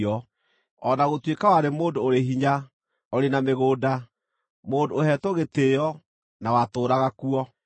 o na gũtuĩka warĩ mũndũ ũrĩ hinya, ũrĩ na mĩgũnda: mũndũ ũheetwo gĩtĩĩo, na watũũraga kuo.